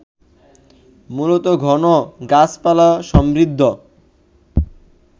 মূলত ঘন গাছপালাসমৃদ্ধ